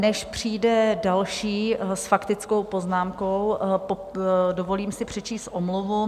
Než přijde další s faktickou poznámkou, dovolím si přečíst omluvu.